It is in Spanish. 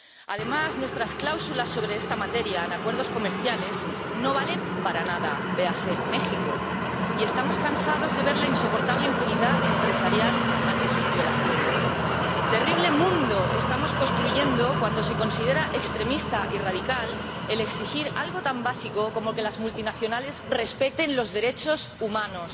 Además, nuestras cláusulas sobre esta materia en acuerdos comerciales no valen para nada —veáse México— y estamos cansados de ver la insoportable impunidad empresarial ante sus violaciones. Terrible mundo estamos construyendo, cuando se considera extremista y radical el exigir algo tan básico como que las multinacionales respeten los derechos humanos.